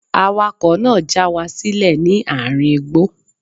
Awakọ̀ náà já wa sílẹ̀ ní àárín igbó.